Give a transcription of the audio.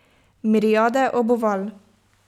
Miriade obuval!